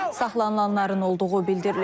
Saxlanılanların olduğu bildirilir.